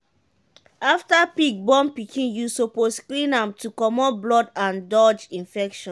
after pig born pikin you suppose clean am to comot blood and dodge infection.